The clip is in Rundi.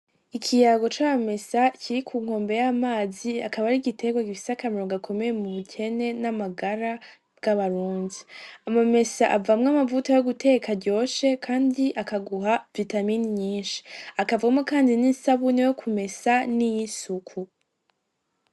Ikiyango ca mamesa Kiri ku nkombe y'amazi akaba ari igiterwa gifise akamaro gakomeye m'ubukene n'amagara meza bwa Barundi ,amamesa avamwo amavuta yo gutekesha aguha vitamine nyinshi, hakavamwo kandi n'isabune yo kumesa nay'isuku.